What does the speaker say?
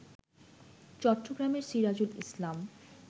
চট্টগ্রামের সিরাজুল ইসলাম